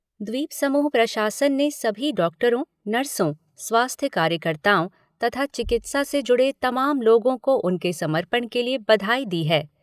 द्वीपसमूह प्रशासन ने सभी डॉक्टरों, नर्सों, स्वास्थ्य कार्यकताओ तथा चिकित्सा से जुड़े तमाम लोगों को उनके समर्पण के लिए बधाई दी है।